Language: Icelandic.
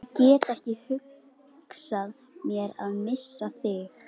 Ég get ekki hugsað mér að missa þig.